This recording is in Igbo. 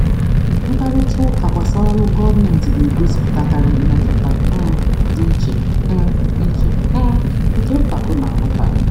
Mkparịta ụka gbasara ọrụ gọọmentị na-egosipụtakarị mmetụta um dị iche um iche um nke mpako na nghọtahie.